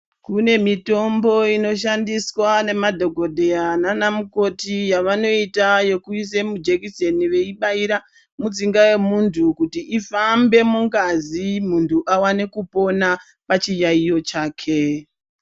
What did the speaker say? Kune mitombo inoshandiswa ngemadhokodheya nanamukoti yavanoita ekuuse mujekiseni veibaira mutsinga yemunthu kuti ifambe mungazi munthu aone kupona pachiyaeyo chake.